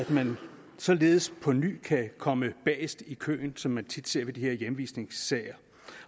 man således på ny kan komme bagest i køen som man tit ser det ved de her i hjemvisningssager